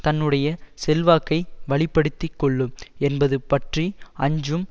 தன்னுடைய செல்வாக்கை வலிப்படுத்திக் கொள்ளும் என்பது பற்றி அஞ்சும்